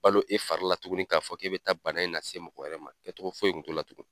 balo e fari la tuguni k'a fɔ k'e bɛ taa bana in lase mɔgɔ wɛrɛ ma kɛcogo foyi kun t'o la tugun.